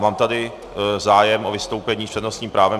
Mám tady zájem o vystoupení s přednostním právem.